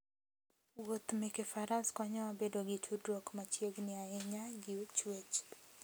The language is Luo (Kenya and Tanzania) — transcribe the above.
Wuoth meke faras konyowa bedo gi tudruok machiegni ahinya gi chwech